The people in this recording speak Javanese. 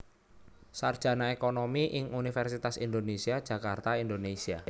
Sarjana Ekonomi ing Universitas Indonésia Jakarta Indonésia